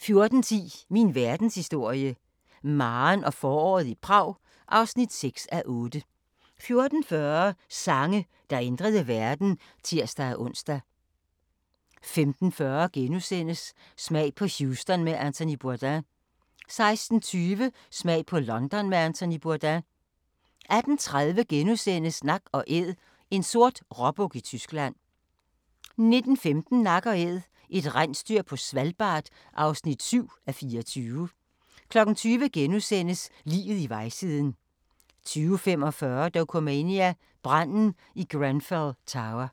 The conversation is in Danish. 14:10: Min verdenshistorie – Maren og foråret i Prag (6:8) 14:40: Sange, der ændrede verden (tir-ons) 15:40: Smag på Houston med Anthony Bourdain * 16:20: Smag på London med Anthony Bourdain 18:30: Nak & Æd – en sort råbuk i Tyskland * 19:15: Nak & Æd – et rensdyr på Svalbard (7:24) 20:00: Liget i vejsiden * 20:45: Dokumania: Branden i Grenfell Tower